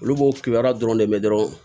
Olu b'o kibaruya dɔrɔn de mɛn dɔrɔn